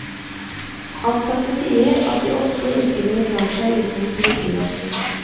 Ansatte sier at de ofte ikke ville klart seg uten politivakten.